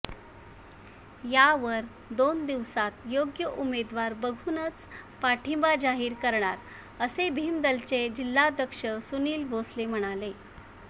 यावर दोन दिवसात योग्य उमेदवार बघूनच पाठिंबा जाहीर करणार असे भिमदलचे जिल्हाध्यक्ष सुनिल भोसले म्हणाले